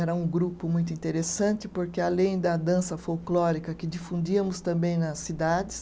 Era um grupo muito interessante porque, além da dança folclórica que difundíamos também nas cidades,